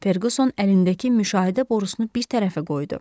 Ferquson əlindəki müşahidə borusunu bir tərəfə qoydu.